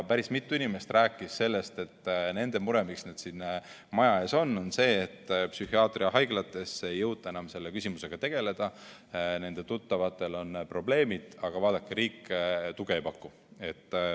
Päris mitu inimest rääkis sellest, et nende mure, miks nad siin maja ees on, on see, et psühhiaatriahaiglates ei jõuta enam selle küsimusega tegeleda, nende tuttavatel on probleemid, aga vaadake, riik tuge ei paku.